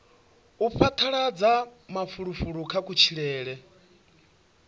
u phadaladza mafulufulo kha kutshilele